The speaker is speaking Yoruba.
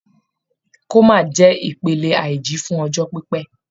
Coma jẹ́ ìpele àìjí fún ọjọ́ pípẹ́.